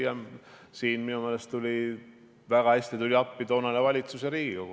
Ja minu meelest tulid väga hästi appi ka toonane valitsus ja Riigikogu.